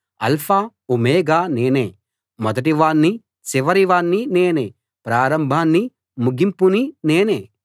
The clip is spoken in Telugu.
ఆల్ఫా ఓమెగా నేనే మొదటి వాణ్ణి చివరి వాణ్ణి నేనే ప్రారంభాన్నీ ముగింపునీ నేనే